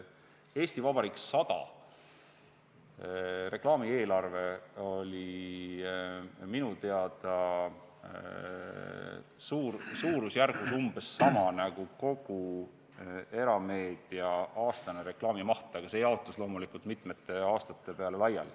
"Eesti Vabariik 100" reklaamieelarve oli minu teada suurusjärgus umbes sama nagu kogu erameedia aastane reklaamimaht, see jaotus loomulikult mitme aasta peale.